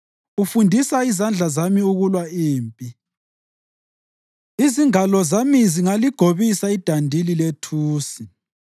Ufundisa izandla zami ukulwa impi; izingalo zami zingaligobisa idandili lethusi.